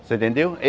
Você entendeu?